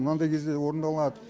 мынандай кезде орындалады